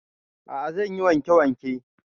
A'a zan yi wanke wanke